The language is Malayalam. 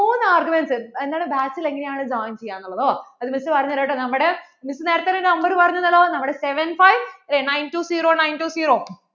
മൂന്ന് arguments എന്താണ് batch ൽ എങ്ങനെ ആണ് join ചെയ്യാന്നുള്ളതോ? അത്, Miss പറഞ്ഞു തരാം കേട്ടോ നമ്മടെ Miss നേരത്തെ ഒരു നമ്പർ പേരിനു തന്നൂല്ലോ seven five nine two zero two zero